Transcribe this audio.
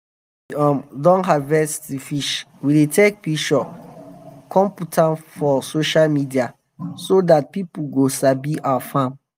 after we um don harvest d fish we dey take pishure come put am for sosah media so dat pipo go sabi our farm.